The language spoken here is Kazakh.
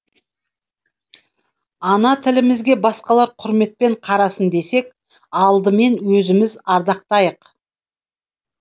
ана тілімізге басқалар құрметпен қарасын десек алдымен өзіміз ардақтайық